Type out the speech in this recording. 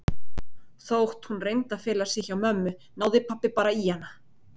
Þótt hún reyndi að fela sig hjá mömmu náði pabba bara í hana.